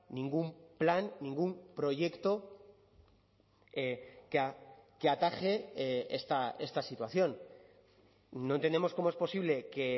ningún plan ningún proyecto que ataje esta situación no entendemos cómo es posible que